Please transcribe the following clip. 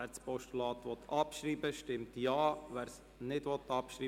Wer das Postulat abschreiben will, stimmt Ja, wer es ablehnt, stimmt Nein.